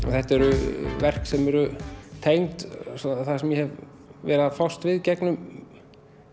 þetta eru verk sem eru tengd því sem ég hef verið að fást við gegnum